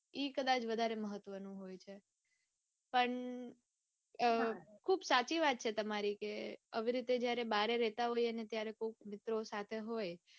ઈ કદાચ વધારે મહત્વનું હોય છે. પણ ખુબ સાચી વાત છે તમારી કે આવી રીતે જયારે બારે રેતા હોઈએ ને કોક મિત્રો સાથે હોય